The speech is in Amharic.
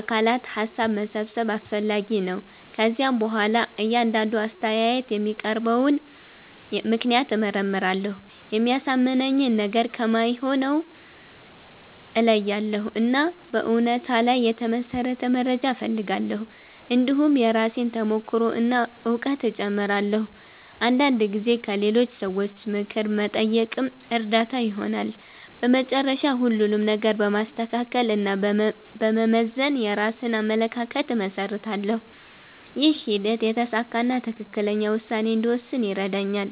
አካላት ሀሳብ መሰብሰብ አስፈላጊ ነው። ከዚያ በኋላ እያንዳንዱ አስተያየት የሚያቀርበውን ምክንያት እመርመራለሁ። የሚያሳምነኝን ነገር ከማይሆነው እለያያለሁ፣ እና በእውነታ ላይ የተመሠረተ መረጃ እፈልጋለሁ። እንዲሁም የራሴን ተሞክሮ እና እውቀት እጨምራለሁ። አንዳንድ ጊዜ ከሌሎች ሰዎች ምክር መጠየቅም እርዳታ ይሆናል። በመጨረሻ ሁሉንም ነገር በማስተካከል እና በመመዘን የራሴን አመለካከት እመሰርታለሁ። ይህ ሂደት የተሳካ እና ትክክለኛ ውሳኔ እንድወስን ይረዳኛል።